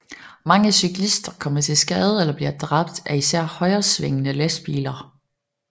Mange cyklister kommer til skade eller bliver dræbt af især højresvingende lastbiler